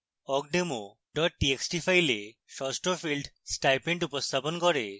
awkdemo txt file ষষ্ঠ field stipend উপস্থাপন করে